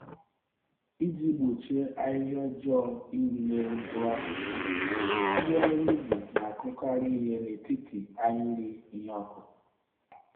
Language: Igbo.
Iji gbochie ahịhịa ọjọọ iru n'elu mkpụrụ akụkụ, ndị ọrụ ubi na-akụkarị ìhè n'etiti ahịrị ihe ọkụkụ.